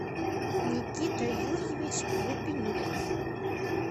никита юрьевич гупенюк